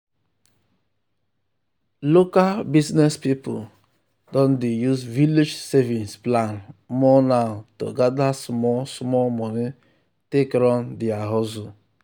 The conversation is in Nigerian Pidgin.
local business people don dey use village savings plan more now to gather small small money take run their hustle.